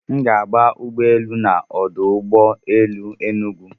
Aga m agba ụgbọ elu na ọdụ ụgbọ elu Enugwu.